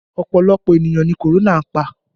Ọpọlọpọ ènìyàn ni korona pa